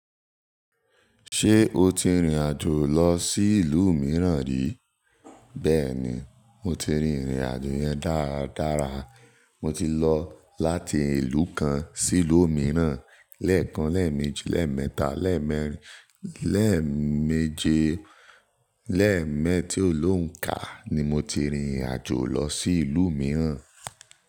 Ṣé o ti rìnrìn àjò lọ sí ìlú mìíràn rí? Bẹ́ẹ̀ni, mo ti rìnrìn àjò yẹn dára dára. Mo ti lọ láti ìlú kan sí ìlú mìíràn. Lẹ́ẹ̀kan, lẹ́ẹ̀mejì, lẹ́ẹ̀mẹ́ta, lẹ́ẹ̀mẹ́rin, lẹ́ẹ̀meeje, lẹ́ẹ̀mẹ́ ti ó lónka ni mo ti rìn irin àjò lọ sí ìlú mìíràn.